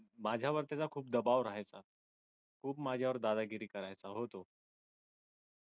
माझ्यावर त्याचा खूप दबाव आहे खूप माझ्यावर दादागिरी करायचा